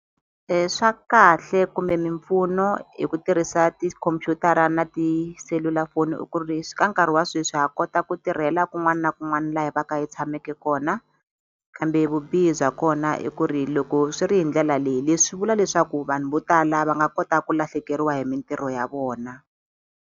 Wa kahle kumbe mimpfuno hi ku tirhisa tikhompyutara na tiselulafoni i ku ri leswi ka nkarhi wa sweswi ha kota ku tirhela kun'wana kun'wana la hi va ka hi yi tshameke kona kambe vubihi bya kona i ku ri loko swi ri hi ndlela leyi leswi vula leswaku vanhu vo tala va nga kota ku lahlekeriwa hi mintirho ya vona.